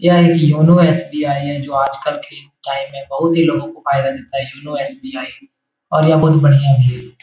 यह एक YONO SBI. है जो आज कल के टाइम में बहुत ही लोगों को फायदा देता है योनो एस.बी.आई. और यह बढ़िया भी है।